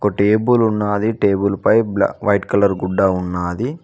table ఉన్నది table పై white colour గుడ్డ ఉన్నది